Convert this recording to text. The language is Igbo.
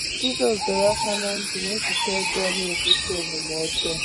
Jizọs dọrọ aka ná ntị na echiche ọjọọ na-ebute omume ọjọọ